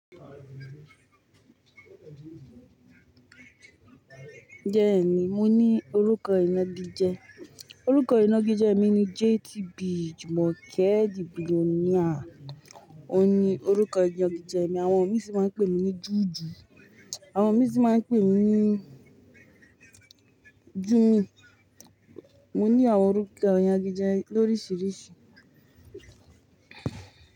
Bẹ́ẹ̀nì, mo ní orúkọ ìnagijẹ. Orúkọ ìnagijẹ mi ni JTB Jumoke The Billionaire. Ó ní orúkọ ìnagijẹ mi. Àwọn mí sì máa ń pè mí ní Juju, àwọn mí sì máa ń pè mí ní Jummy. Mo ní àwọn orúkọ ìnagijẹ lóríṣiríṣi.